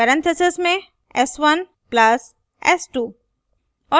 parentheses में s1 plus s2